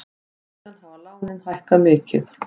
Síðan hafa lánin hækkað mikið.